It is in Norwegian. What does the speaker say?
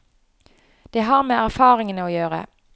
Det har med erfaringene å gjøre.